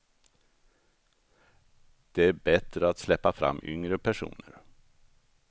Det är bättre att släppa fram yngre personer.